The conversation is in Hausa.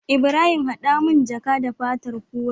Ibrahim hada mun jaka da fatar kura